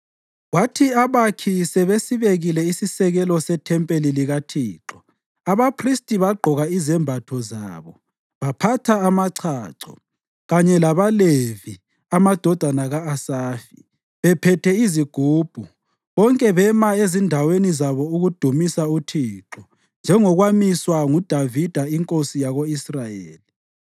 Kwathi abakhi sebesibekile isisekelo sethempeli likaThixo abaphristi bagqoka izembatho zabo, baphatha amachacho, kanye labaLevi (amadodana ka-Asafi) bephethe izigubhu, bonke bema ezindaweni zabo ukudumisa uThixo njengokwamiswa nguDavida inkosi yako-Israyeli.